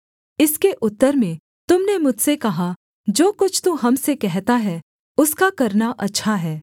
इसके उत्तर में तुम ने मुझसे कहा जो कुछ तू हम से कहता है उसका करना अच्छा है